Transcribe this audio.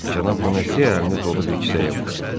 Cənab Boneziya əlini dolu bir kisəyə vurdu.